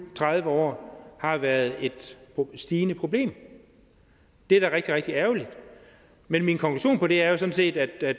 tredive år har været et stigende problem det er da rigtig rigtig ærgerligt men min konklusion på det er sådan set at